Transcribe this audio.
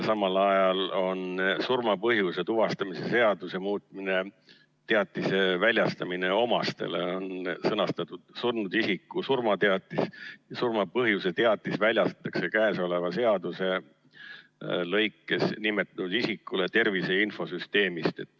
Ja surma põhjuse tuvastamise seaduse muutmise raames on sõnastatud teatise väljastamine omastele nii: "Surnud isiku surmateatis ja surma põhjuse teatis väljastatakse käesoleva seaduse § 6 lõikes 1 nimetatud isikule tervise infosüsteemist.